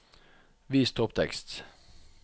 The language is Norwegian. Vis topptekst